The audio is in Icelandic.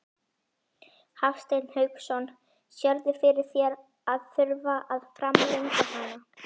Hafsteinn Hauksson: Sérðu fyrir þér að þurfa að framlengja hana?